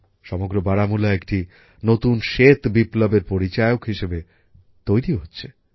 সমগ্র বারামুলা একটি নতুন শ্বেত বিপ্লবের পরিচায়ক হিসেবে তৈরি হচ্ছে